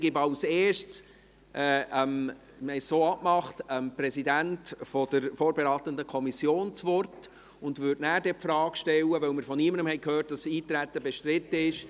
Wie abgemacht gebe ich das Wort als Erstes dem Präsidenten der vorberatenden Kommission, und würde die Eintretensfrage danach stellen, weil wir von niemandem gehört haben, dass es bestritten ist.